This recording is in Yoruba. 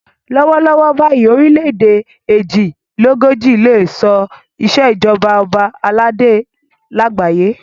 Lọ́wọ́ lọ́wọ́ báyìí orílẹ̀ èdè èjì lé lógójì ló ṣe ìṣèjọba ọba aládé lágbàáyé.